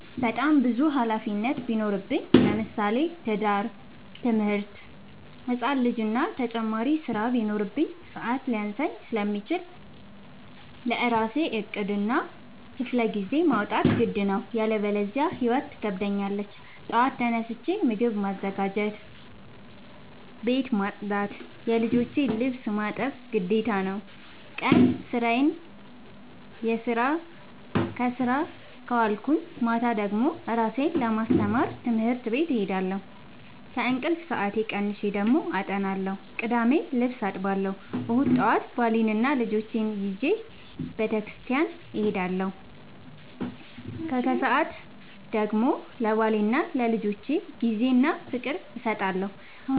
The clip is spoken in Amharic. በጣም ብዙ ሀላፊነት ቢኖርብኝ ለምሳሌ፦ ትምህርት፣ ትዳር፣ ህፃን ልጂ እና ተጨማሪ ስራ ቢኖርብኝ። ሰዐት ሊያንሰኝ ስለሚችል ለራሴ ዕቅድ እና ክፍለጊዜ ማውጣት ግድ ነው። ያለበዚያ ህይወት ትከብደኛለች ጠዋት ተነስቼ ምግብ ማዘጋጀት፣ ቤት መፅዳት የልጆቼን ልብስ ማጠብ ግዴታ ነው። ቀን ስራዬን ስሰራ ከዋልኩኝ ማታ ደግሞ እራሴን ለማስተማር ትምህርት ቤት እሄዳለሁ። ከእንቅልፌ ሰአት ቀንሼ ደግሞ አጠናለሁ ቅዳሜ ልብስ አጥባለሁ እሁድ ጠዋት ባሌንና ልጆቼን ይዤ በተስኪያን እሄዳለሁ። ከሰዓት ደግሞ ለባሌና ለልጆቼ ጊዜ እና ፍቅር እሰጣለሁ።